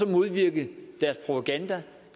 modvirke deres propaganda